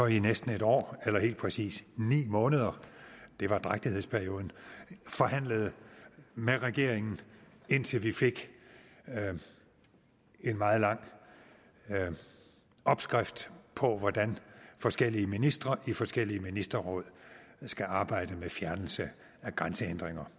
i næsten et år eller helt præcis ni måneder det var drægtighedsperioden forhandlede med regeringen indtil vi fik en meget lang opskrift på hvordan forskellige ministre i forskellige ministerråd skal arbejde med fjernelse af grænsehindringer